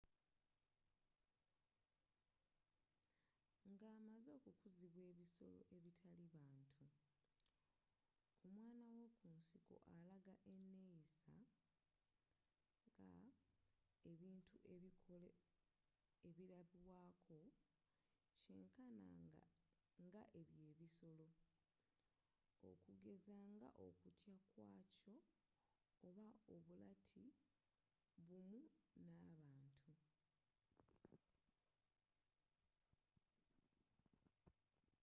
nga amaze okukuzibwa ebisolo ebitali bantu omwana w’okunsiko alaga eneeyisa ebintu ebilabwaako kyenkana nga ey’ebyo ebisolo okugeza nga okutya kw’akyo oba obulati bumu na bantu